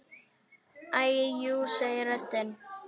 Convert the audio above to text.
Æi jú, segir röddin.